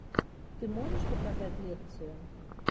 ты можешь показать лекцию